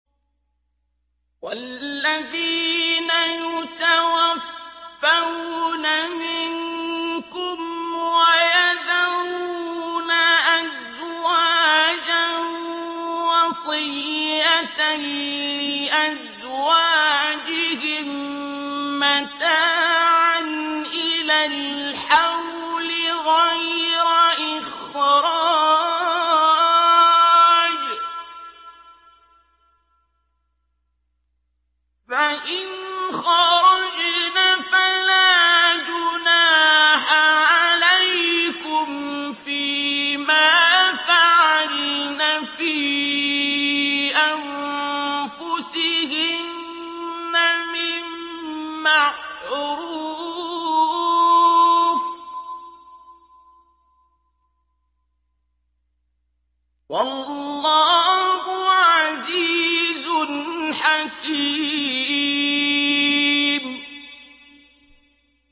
وَالَّذِينَ يُتَوَفَّوْنَ مِنكُمْ وَيَذَرُونَ أَزْوَاجًا وَصِيَّةً لِّأَزْوَاجِهِم مَّتَاعًا إِلَى الْحَوْلِ غَيْرَ إِخْرَاجٍ ۚ فَإِنْ خَرَجْنَ فَلَا جُنَاحَ عَلَيْكُمْ فِي مَا فَعَلْنَ فِي أَنفُسِهِنَّ مِن مَّعْرُوفٍ ۗ وَاللَّهُ عَزِيزٌ حَكِيمٌ